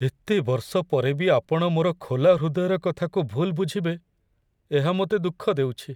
ଏତେ ବର୍ଷ ପରେ ବି ଆପଣ ମୋର ଖୋଲା ହୃଦୟର କଥାକୁ ଭୁଲ୍ ବୁଝିବେ, ଏହା ମୋତେ ଦୁଃଖ ଦେଉଛି।